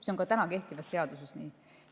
See on ka kehtivas seaduses nii.